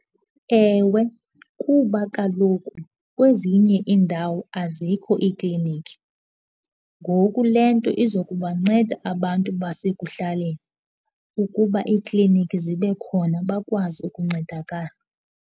Ewe, kuba kaloku kwezinye iindawo azikho iikliniki. Ngoku le nto iza kubanceda abantu basekuhlaleni ukuba ekliniki zibe khona bakwazi ukuncedakala.